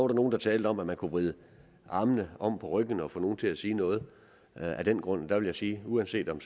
der nogle der talte om at man kunne vride armen om på ryggen af nogen og få dem til at sige noget af den grund der vil jeg sige at uanset om